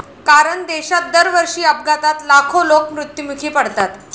कारण देशात दरवर्षी अपघातात लाखो लोक मृत्युमुखी पडतात.